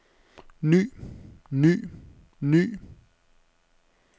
ny ny ny